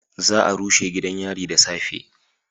Za a rushe gidan yari da safe